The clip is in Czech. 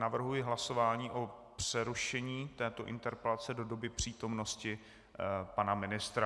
Navrhuji hlasování o přerušení této interpelace do doby přítomnosti pana ministra.